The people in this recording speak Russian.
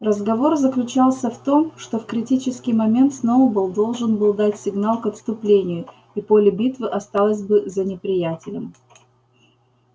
разговор заключался в том что в критический момент сноуболл должен был дать сигнал к отступлению и поле битвы осталось бы за неприятелем